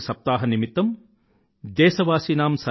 సప్తాహ్ నిమిత్తం దేశవాసీనాం